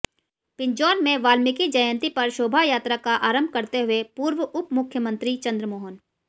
पिंजौर में वाल्मीकि जयंती पर शोभायात्रा का आरंभ करते हुए पूर्व उपमुख्यमन्त्री चन्द्रमोहन